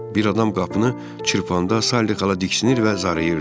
Bir adam qapını çırpanda Saliqə diksinir və zarayırdı.